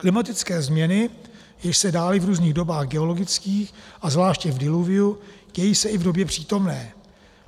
Klimatické změny, jež se dály v různých dobách geologických a zvláště v diluviu, dějí se i v době přítomné.